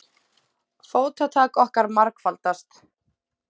Fótatak okkar margfaldast.